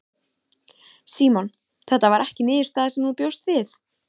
Símon: Þetta var ekki niðurstaða sem þú bjóst við?